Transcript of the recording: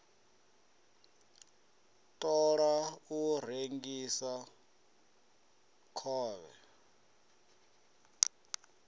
ṱo ḓa u rengisa khovhe